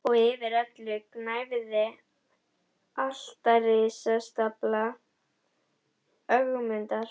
Og yfir öllu gnæfði altaristafla Ögmundar.